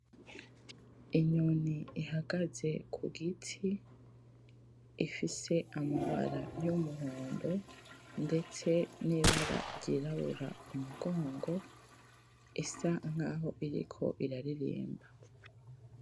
Inyoni ihagaze kugiti ifise amabara yumuhondo ndetse nibara ryirabura kumugongo isa nkaho iriko iraririmba